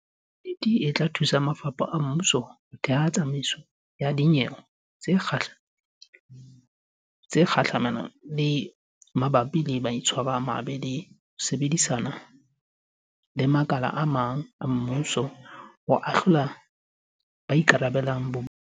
Yuniti e tla thusa mafapha a mmuso ho theha tsamaiso ya dinyewe tsa kga lemelo mabapi le maitshwaro a mabe le ho sebedisana le makala a mang a mmuso ho ahlola ba ikarabellang bobo dung.